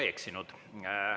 Ma ei eksinud.